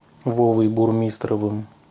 вовой бурмистровым